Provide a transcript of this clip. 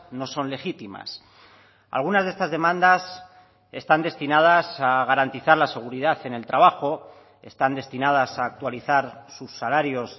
no son legítimas algunas de estas demandas están destinadas a garantizar la seguridad en el trabajo están destinadas a actualizar sus salarios